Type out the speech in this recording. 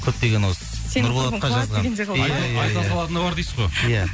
көптеген осы иә иә иә айта салатыны бар дейсіз ғой иә